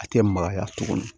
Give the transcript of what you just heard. A tɛ magaya tuguni